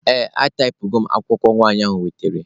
Ee, ataipụgo m akwụkwọ nwanyị ahụ wetere.